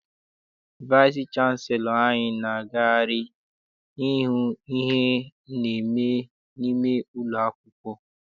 Vaịsị chanselọ anyị na-agagharị ihu ihe na-eme n'ime ụlọ akwụkwọ.